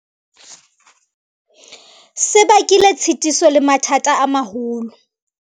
Se bakile tshitiso le mathata a maholo.